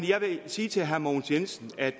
jeg vil sige til herre mogens jensen at